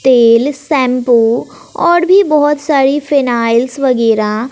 तेल शैंपू और भी बहोत सारी फाइनाल्स वगैरा--